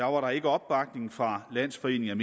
var der ikke opbakning fra landsforeningen